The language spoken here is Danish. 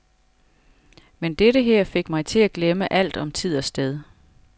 Men dette her fik mig til at glemme alt om tid og sted.